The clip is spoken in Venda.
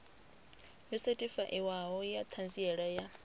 yo sethifaiwaho ya ṱhanziela ya